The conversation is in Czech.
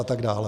a tak dále.